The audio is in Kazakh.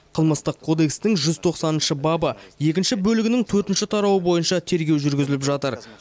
қылмыстық кодекстің жүз тоқсаныншы бабы екінші бөлігінің төртінші тарауы бойынша тергеу жүргізіліп жатыр